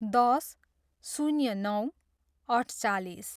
दस, शून्य नौ, अठचालिस